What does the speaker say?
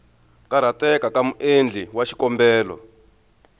karhateka ka muendli wa xikombelo